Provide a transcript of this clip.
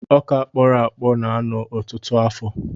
Ọkà kpọrọ akpọ na-anọ ọtụtụ afọ.